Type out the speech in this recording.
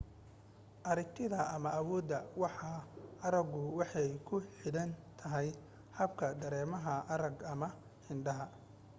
aragtida ama awoodda waxa aragu waxay ku xidhan tahay habka dareemaha arraga ama indhaha